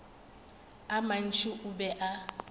a mantši o be a